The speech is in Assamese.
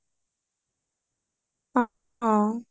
অ অ